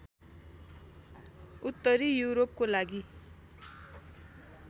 उत्तरी यूरोपकोलागि